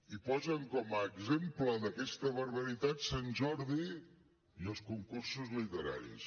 i posen com a exemple d’aquesta barbaritat sant jordi i els concursos literaris